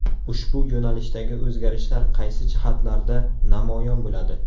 Ushbu yo‘nalishdagi o‘zgarishlar qaysi jihatlarda namoyon bo‘ladi?